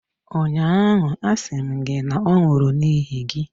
ụnyaahụ, asị m gị na ọ nwụrụ n’ihi gị!